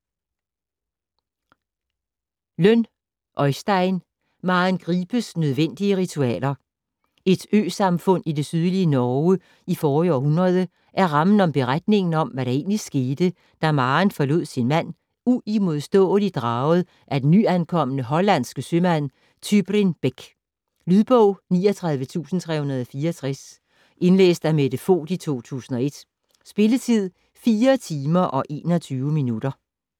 Lønn, Øystein: Maren Gripes nødvendige ritualer Et øsamfund i det sydlige Norge i forrige århundrede er rammen om beretningen om, hvad der egentlig skete da Maren forlod sin mand, uimodståeligt draget af den nyankomne hollandske sømand Tybrin Beck. Lydbog 39364 Indlæst af Mette Voight, 2001. Spilletid: 4 timer, 21 minutter.